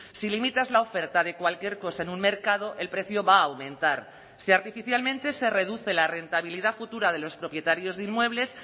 si limitas la oferta de cualquier cosa en un mercado el precio va a aumentar si artificialmente se reduce la rentabilidad futura de los propietarios de inmuebles